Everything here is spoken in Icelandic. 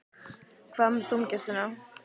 Hvað með dómgæsluna?